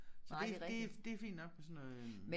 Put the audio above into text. Så det det det fint nok på sådan noget øh